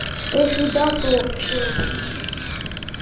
а если да то всё заебись